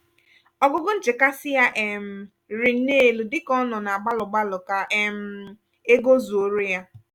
ogugo nchekasị ya um rịrị nnọ elu dika ọ nọ na gbalụ-gbalụ kà um ego zuoro ya.